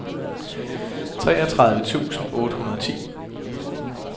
treogtredive tusind otte hundrede og ti